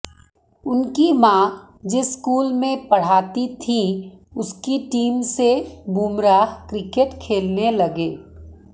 उनकी मां जिस स्कूल में पढ़ाती थीं उसकी टीम से बुमराह क्रिकेट खेलने लगे